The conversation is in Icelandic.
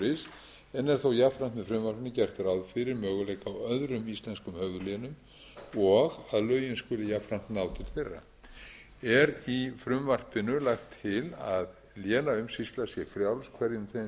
en er þó jafnframt með frumvarpinu gert ráð fyrir möguleika á öðrum íslenskum höfuðlénum og að lögin skuli jafnframt ná til þeirra er því í frumvarpinu lagt til að lénaumsýsla sé frjáls hverjum þeim sem hana vill